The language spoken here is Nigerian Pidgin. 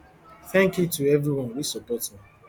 thank you to every one wey support me